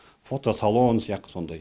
фотосалон сияқты сондай